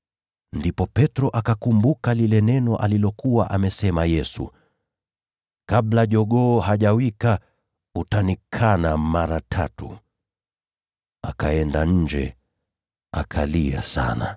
Ndipo Petro akakumbuka lile neno Yesu alilokuwa amesema: “Kabla jogoo hajawika, utanikana mara tatu.” Naye akaenda nje, akalia kwa majonzi.